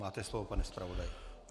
Máte slovo, pane zpravodaji.